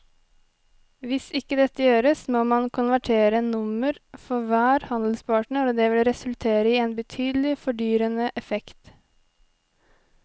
Hvis ikke dette gjøres må man konvertere nummer for hver handelspartner og det vil resultere i en betydelig fordyrende effekt.